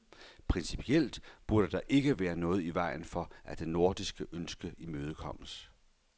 Principielt burde der ikke være noget i vejen for, at det nordiske ønske imødekommes.